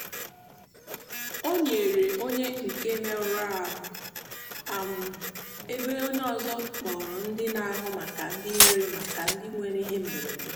ọ nọnyeere onye nke merụrụ ahụ ebe onye ọzọ kpọrọ ndị na-ahụ maka ndị nwere maka ndị nwere ihe mberede.